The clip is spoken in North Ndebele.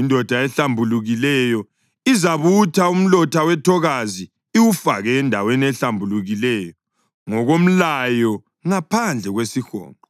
Indoda ehlambulukileyo izabutha umlotha wethokazi iwufake endaweni ehlambulukileyo ngokomlayo ngaphandle kwesihonqo.